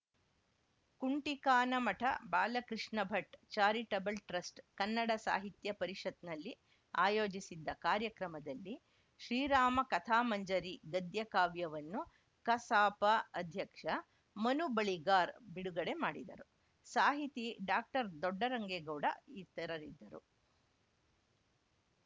ಕುಂಟಿಕಾನಮಠ Balakrishna Bhat charitable trust Kannada ಸಾಹಿತ್ಯ ಪರಿಷತ್‌ನಲ್ಲಿ ಆಯೋಜಿಸಿದ್ದ ಕಾರ‍್ಯಕ್ರಮದಲ್ಲಿ ಶ್ರೀರಾಮ ಕಥಾಮಂಜರಿ ಗದ್ಯಕಾವ್ಯವನ್ನು ಕಸಾಪ ಅಧ್ಯಕ್ಷ ಮನುಬಳಿಗಾರ್‌ ಬಿಡುಗಡೆ ಮಾಡಿದರು ಸಾಹಿತಿ ಡಾಕ್ಟರ್ದೊಡ್ಡರಂಗೇಗೌಡ ಇತರರಿ